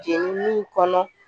Jenini kɔnɔ